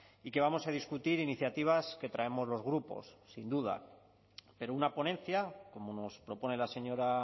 y que vamos a discutir iniciativas que traemos los grupos sin duda pero una ponencia como nos propone la señora